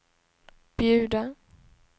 bjuda